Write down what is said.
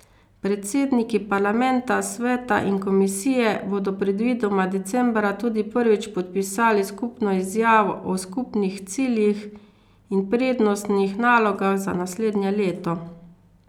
Predsedniki parlamenta, sveta in komisije bodo predvidoma decembra tudi prvič podpisali skupno izjavo o skupnih ciljih in prednostnih nalogah za naslednje leto.